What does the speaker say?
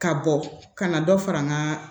Ka bɔ ka na dɔ fara n ka